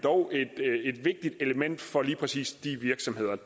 et vigtigt element for lige præcis de virksomheder